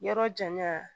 Yɔrɔ janya